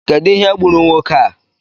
Kedụ ihe gburu nwoke a?